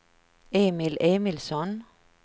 Emil Emilsson